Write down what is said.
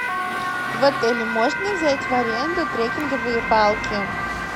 в отеле можно взять в аренду треккинговые палки